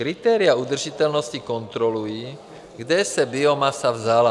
Kritéria udržitelnosti kontrolují, kde se biomasa vzala.